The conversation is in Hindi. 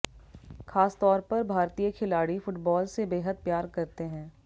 खासतौर पर भारतीय खिलाड़ी फुटबॉल से बेहद प्यार करते हैं